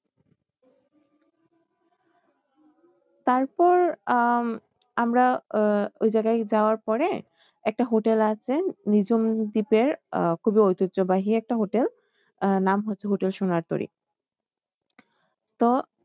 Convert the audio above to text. তারপর আহ আমরা উহ ওই জায়গায় যাওয়ার পরে একটা hotel আছে নিঝুম দ্বীপের আহ খুবই ঐতিহ্যবাহী একটা hotel আহ নাম হচ্ছে hotel সোনারতরী তো